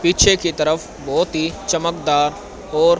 पीछे की तरफ बहुत ही चमकदार और।